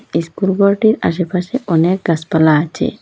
School ঘরটির আশেপাশে অনেক গাসপালা আছে।